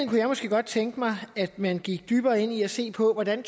kunne jeg måske godt tænke mig at man gik dybere ind i at se på hvordan